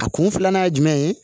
A kun filanan ye jumɛn ye